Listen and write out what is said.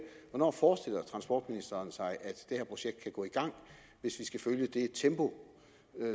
hvornår forestiller transportministeren sig at det her projekt kan gå i gang hvis vi skal følge det tempo